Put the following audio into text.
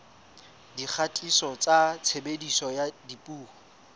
dikgatiso tsa tshebediso ya dipuo